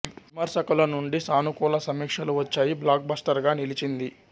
విమర్శకుల నుండి సానుకూల సమీక్షలు వచ్చాయి బ్లాక్ బస్టర్ గా నిలిచింది